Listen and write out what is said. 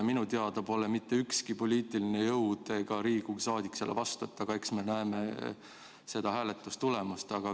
Minu teada pole mitte ükski poliitiline jõud ega Riigikogu liige sellele vastu, aga eks me siis pärast näeme hääletustulemust.